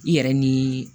I yɛrɛ ni